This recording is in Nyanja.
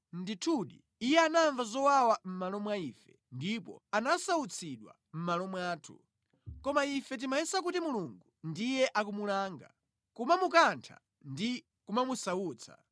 Ndithudi, iye anamva zowawa mʼmalo mwa ife; ndipo anasautsidwa mʼmalo mwathu. Koma ife tinkaganiza kuti ndi Mulungu amene akumulanga, kumukantha ndi kumusautsa.